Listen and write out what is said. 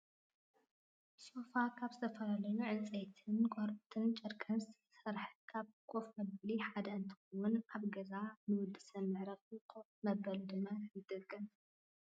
ሶፋ ካብ ዝተፈላለዩ ዕንፀይትን ቆርበትን ጨርቅን ዝስራሕ ካብ ኮፍ መበሊ ሓደ እንትከውን፣ ኣብ ገዛ ንወዲ ሰብ መዕረፊ ኮፍ መበሊ ድማ ይጠቅም።